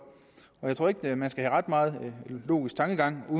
jeg tror ikke at man skal have ret meget logisk tankegang